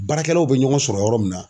Baarakɛlaw bɛ ɲɔgɔn sɔrɔ yɔrɔ min na.